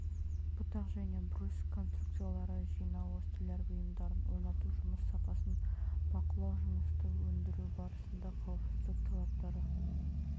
бұтақ және брусь конструкциялары жинауы столяр бұйымдарын орнату жұмыс сапасын бақылау жұмысты өндіру барысында қауіпсіздік талаптары